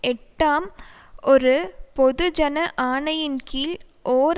எட்டாம் ஒரு பொதுஜன ஆணையின் கீழ் ஓர்